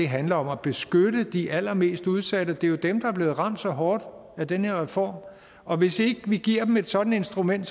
handler om at beskytte de allermest udsatte det er jo dem der er blevet ramt så hårdt af den her reform og hvis ikke vi giver dem et sådant instrument